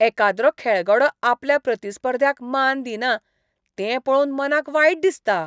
एकाद्रो खेळगडो आपल्या प्रतिस्पर्ध्याक मान दिना तें पळोवन मनाक वायट दिसता.